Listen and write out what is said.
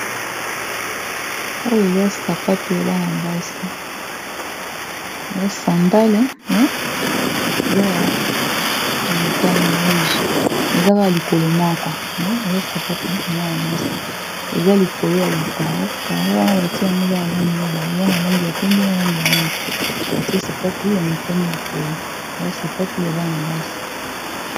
Oyo eza sapato ya bana basi eya sandale me eza ya motani ruge me eza kaka likolo moko me eza sapatu ya mwana mwasi eza likolo ya ba caro caro wana batia yango eza ba langi mibale eza na langi ya pembe na langi ya mwindo batie sapatu ya motane likolo eza sapatu ya bana basi.